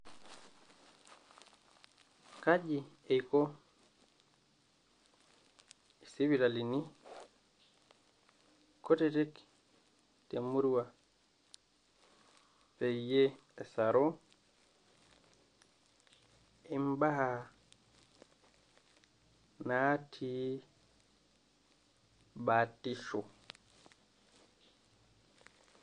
Kaji eiko sipitalini kutitik temurua peyiee esaru im'baa natii batisho